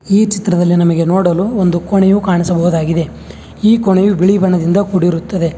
ಈ ಚಿತ್ರದಲ್ಲಿ ನಮಗೆ ನೋಡಲು ಒಂದು ಕೊಣೆಯು ಕಾಣಿಸಬಹುದಾಗಿದೆ ಈ ಕೊಣೆಯು ಬಿಳಿ ಬಣ್ಣದಿಂದ ಕುಡಿರುತ್ತದೆ.